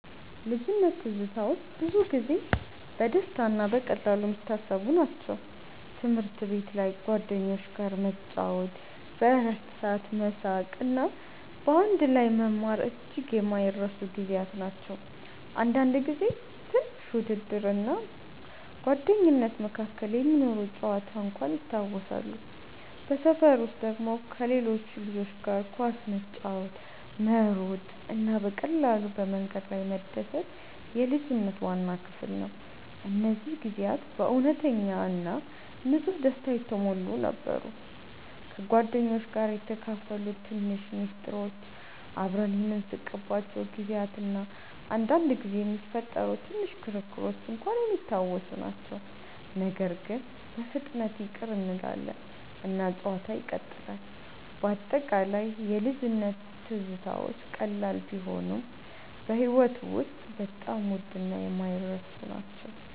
ልጅነት ትዝታዎች ብዙ ጊዜ በደስታ እና በቀላሉ የሚታሰቡ ናቸው። ትምህርት ቤት ላይ ከጓደኞች ጋር መጫወት፣ በእረፍት ሰዓት መሳቅ እና በአንድ ላይ መማር እጅግ የማይረሱ ጊዜያት ናቸው። አንዳንድ ጊዜ ትንሽ ውድድር እና ጓደኝነት መካከል የሚኖር ጨዋታ እንኳን ይታወሳሉ። በሰፈር ውስጥ ደግሞ ከሌሎች ልጆች ጋር ኳስ መጫወት፣ መሮጥ እና በቀላሉ በመንገድ ላይ መደሰት የልጅነት ዋና ክፍል ነው። እነዚህ ጊዜያት በእውነተኛ እና ንጹህ ደስታ የተሞሉ ነበሩ። ከጓደኞች ጋር የተካፈሉት ትንሽ ምስጢሮች፣ አብረን የምንስቅባቸው ጊዜያት እና አንዳንድ ጊዜ የሚፈጠሩ ትንሽ ክርክሮች እንኳን የሚታወሱ ናቸው። ነገር ግን በፍጥነት ይቅር እንላለን እና ጨዋታው ይቀጥላል። በአጠቃላይ የልጅነት ትዝታዎች ቀላል ቢሆኑም በሕይወት ውስጥ በጣም ውድ እና የማይረሱ ናቸው።